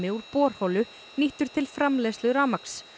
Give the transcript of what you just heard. úr borholu nýttur til framleiðslu rafmagns